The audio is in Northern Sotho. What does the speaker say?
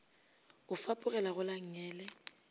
o fapogela go la nngele